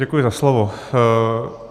Děkuji za slovo.